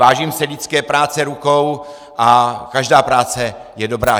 Vážím si lidské práce rukou a každá práce je dobrá.